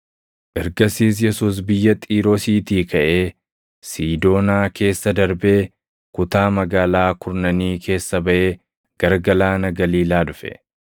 Ergasiis Yesuus biyya Xiiroosiitii kaʼee Siidoonaa keessa darbee, kutaa Magaalaa Kurnanii keessa baʼee gara galaana Galiilaa dhufe.